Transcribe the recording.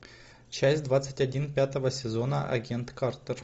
часть двадцать один пятого сезона агент картер